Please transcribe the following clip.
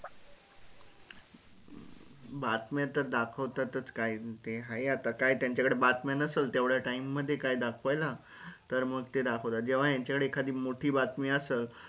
बातम्या तर दाखवतात च काय ते आहे आता काय त्यांचा कडे बातम्या नसलं तेवढ्या time मध्ये काय दाखवायला तर मग ते दाखवतात जेव्हा यांच्या कडे एखादी मोठी बातमी असलं.